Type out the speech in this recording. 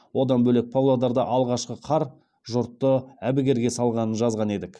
одан бөлек павлодарда алғашқы қар жұртты әбігерге салғанын жазған едік